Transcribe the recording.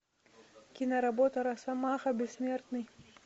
киноработа росомаха бессмертный